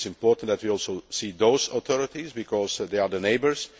It is important that we also see those authorities, because they are the neighbours.